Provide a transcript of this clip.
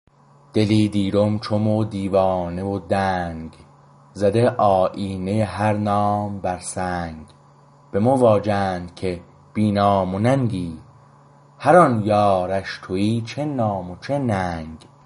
دلی دیرم چو مو دیوانه و دنگ زده آیینه هر نام بر سنگ به مو واجند که بی نام و ننگی هر آن یارش تویی چه نام و چه ننگ